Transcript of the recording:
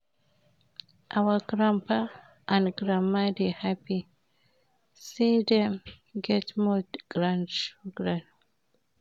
Our grandpapa and grandmama dey happy sey dem get more grandchildren.